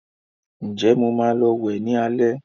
Ǹjẹ́ Mo maa lọ wẹ̀ ní alẹ́